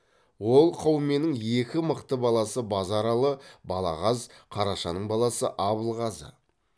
ол қауменің екі мықты баласы базаралы балағаз қарашаның баласы абылғазы